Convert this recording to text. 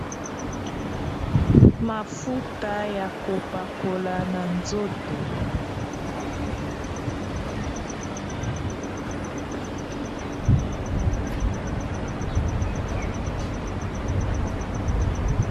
Mafuta ya kopakola na nzoto .